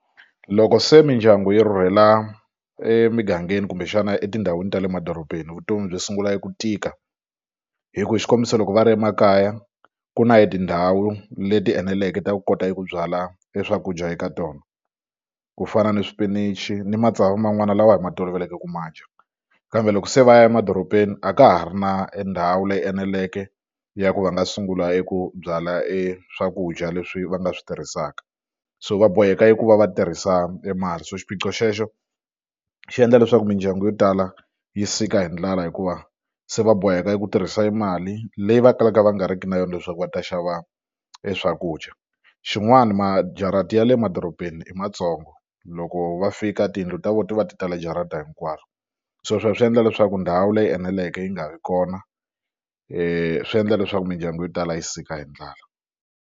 Loko se mindyangu yi rhurhela emigangeni kumbexana etindhawini ta le madorobeni vutomi byi sungula eku tika hi ku hi xikombiso loko va ri emakaya ku na e tindhawu leti eneleke ta ku kota ku byala e swakudya eka tona ku fana ni swipinichi ni matsavu man'wana lawa hi ma toloveleke ku ma dya kambe loko se va ya emadorobeni a ka ha ri na e ndhawu leyi eneleke ya ku va nga sungula eku byala e swakudya leswi va nga swi tirhisaka so va boheka eku va va tirhisa mali so xiphiqo xexo xi endla leswaku mindyangu yo tala yi sika hi ndlala hikuva se va boheka ku tirhisa mali leyi va kalaka va nga riki na yona leswaku va ta xava e swakudya xin'wani majarata ya le madorobeni i matsongo loko va fika tiyindlu ta vona ti va ti tale jarata hinkwaro se sweswo swi endla leswaku ndhawu leyi eneleke yi nga vi kona swi endla leswaku mindyangu yo tala yi sika hi ndlala.